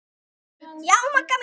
Já, Magga mín.